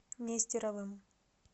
нестеровым